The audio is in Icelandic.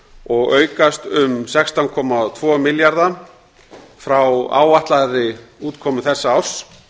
og aukast um sextán komma tvo milljarða frá áætlaðri útkomu þessa árs